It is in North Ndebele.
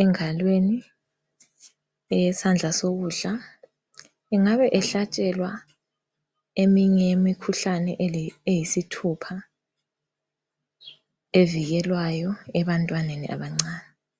engalweni eyesandla sokudla. Engabe ehlatshelwa eminye yemikhuhlane eyisithupha evikelwayo ebantwaneni abancane.